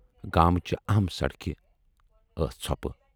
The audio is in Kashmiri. گامچہِ اَہم سڑکہِ ٲس ژھۄپہٕ۔